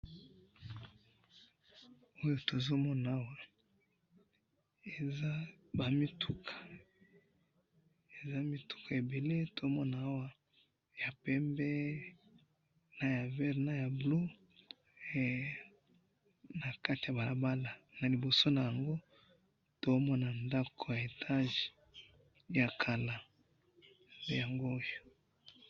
Na moni ba mituka na balabala na liboso nango na moni ndako ya etage.